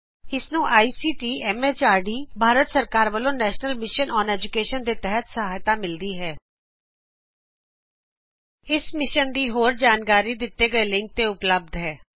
ਇਹ ਭਾਰਤ ਸਰਕਾਰ ਦੇ ਐਮਐਚਆਰਡੀ ਦੇ ਆਈਸੀਟੀ ਦੇ ਮਾਧਿਅਮ ਨਾਲ ਰਾਸ਼ਟ੍ਰੀਅ ਸਿੱਖੀਆ ਮਿਸ਼ਨ ਦਵਾਰਾ ਚਲਾਇਆ ਜਾ ਰਿਹਾ ਹੈ